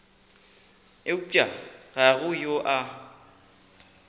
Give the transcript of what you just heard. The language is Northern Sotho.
eupša ga go yo a